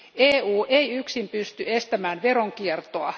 EU ei yksin pysty estämään veronkiertoa.